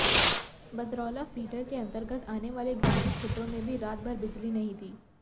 Badraula feeder के अंतर्गत आने वाले ग्रामीण क्षेत्रों में भी रात भर बिजली नहीं थी